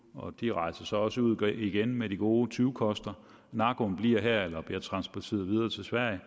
og de rejser så også ud igen med de gode tyvekoster narkoen bliver her eller bliver transporteret videre til sverige